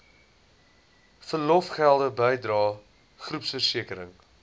verlofgelde bydrae groepversekering